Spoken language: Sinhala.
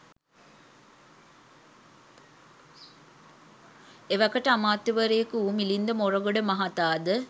එවකට අමාත්‍යවරයෙකු වූ මිලින්ද මොරගොඩ මහතා ද